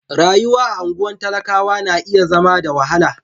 Rayuwar a anguwan talakawa na iya zama da wahala.